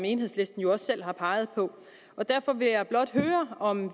enhedslisten også selv har peget på derfor vil jeg blot høre om